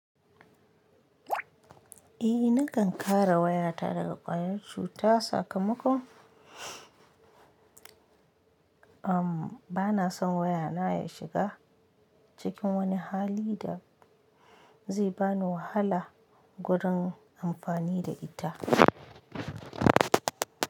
Eh nakan kare wayata daga ƙwayar cuta sakamakon am bana son waya na ya shiga cikin wani hali da zai bani wahala gurin amfani da ita.